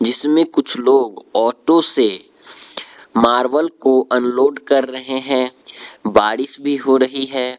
इसमें कुछ लोग ऑटो से मार्बल को अनलोड कर रहे हैं बारिश भी हो रही है।